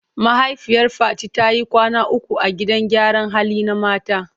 Mahaifiyar Fati ta yi kwana uku a gidan gyaran hali na mata.